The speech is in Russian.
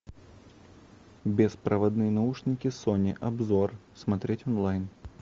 беспроводные наушники сони обзор смотреть онлайн